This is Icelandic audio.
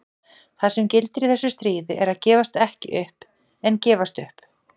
Það sem gildir í þessu stríði er að gefast ekki upp en gefast upp.